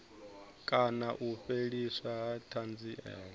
kana u fheliswa ha thanziela